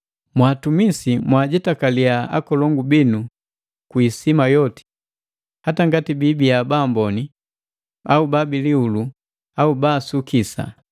Mwaatumisi, mwajetakaliya akolongu binu kwi isima yoti, hata ngati biibia baamboni au babilihulu au baasukisa.